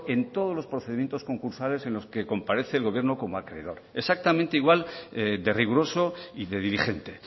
en todos los procedimientos concursales en los que comparece el gobierno como acreedor exactamente igual de riguroso y de dirigente